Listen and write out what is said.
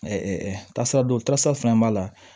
tasaraw tasira fɛn fɛn b'a la